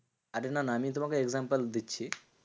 আরে না না আমি তোমাকে example দিচ্ছি।